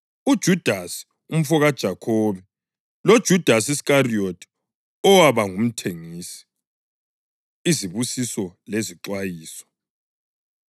uJudasi umfokaJakhobe loJudasi Iskariyothi, owaba ngumthengisi. Izibusiso Lezixwayiso